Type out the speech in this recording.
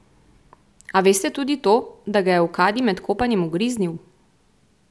A veste tudi to, da ga je v kadi med kopanjem ugriznil?